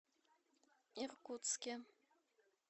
иркутске